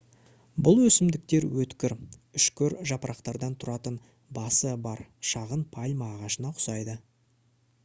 бұл өсімдіктер өткір үшкір жапырақтардан тұратын басы бар шағын пальма ағашына ұқсайды